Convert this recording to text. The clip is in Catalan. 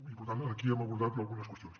i per tant aquí hem abordat ja algunes qüestions